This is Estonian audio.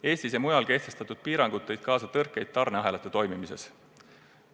Eestis ja mujal kehtestatud piirangud tõid kaasa tõrkeid tarneahelate toimimises.